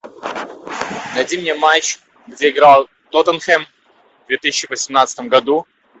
найди мне матч где играл тоттенхэм в две тысячи восемнадцатом году